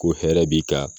Ko hɛrɛ b'i kan